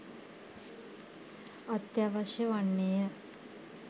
අත්‍යවශ්‍ය වන්නේය